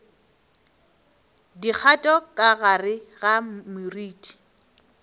dikgato ka gare ga moriti